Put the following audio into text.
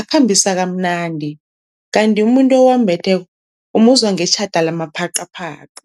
akhambisa kamnandi, kanti umuntu owambetheko umuzwa ngetjhada lamaphaqaphaqa.